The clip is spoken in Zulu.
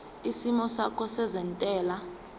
isimo sakho sezentela